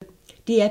DR P1